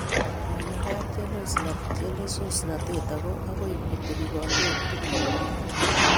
Mamakaat chelososnatet ako akoi kotebi kandoik tukulkomye